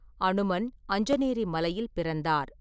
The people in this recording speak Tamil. அனுமன் அஞ்சனேரி மலையில் பிறந்தார்.